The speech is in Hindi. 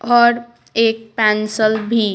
और एक पेंसल भी--